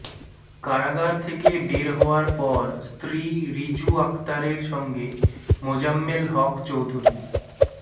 কারাগার থেকে বের হওয়ার পর স্ত্রী রিজু আক্তারের সঙ্গে মোজাম্মেল হক চৌধুরী